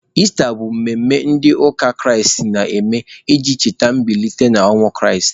Ista bụ emume ndị ụka Kraịst na-eme iji cheta mbilite n'ọnwụ Kraịst.